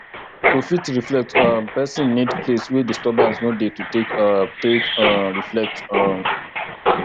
to fit reflect um person need place wey disturbance no dey to take um take um reflect um